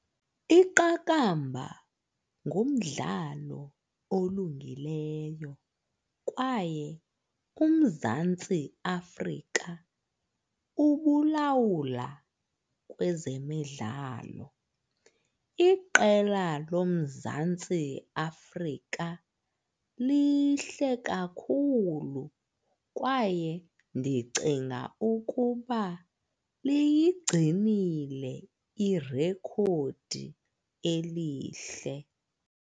Iqakamba ngumdlalo olungileyo kwaye uMzantsi Afrika ubulawula kwezemidlalo. Iqela loMzantsi Afrika lihle kakhulu kwaye ndicinga ukuba liyigcinile irekhodi elihle.